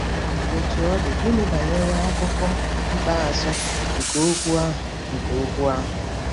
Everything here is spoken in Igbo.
Otú ọ dị, gịnị banyere akụkụ ikpeazụ nke okwu ahụ nke okwu ahụ?